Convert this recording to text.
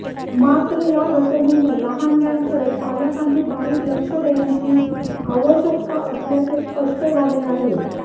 मात्र या घटनेने लहानग्यांकडे पालकांनी बारीक लक्ष देण्याची आवश्यकता असल्याचे स्पष्ट झाले आहे